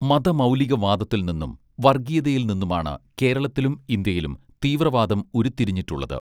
മത മൗലികവാദത്തിൽ നിന്നും വർഗ്ഗീയതയിൽ നിന്നുമാണ് കേരളത്തിലും ഇന്ത്യയിലും തീവ്രവാദം ഉരുത്തിരിഞിട്ടുള്ളത്